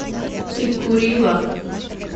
тиккурила